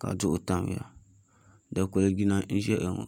ka duɣu tamya dikpuli jina n ʒɛya ŋo